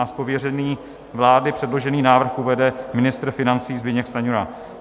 Z pověření vlády předložený návrh uvede ministr financí Zbyněk Stanjura.